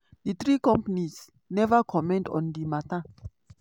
di three companies neva comment on di mata.